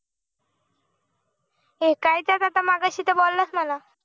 हे काय च्या मगशितर बोललास मला